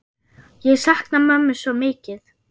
Ég sakna mömmu svo mikið.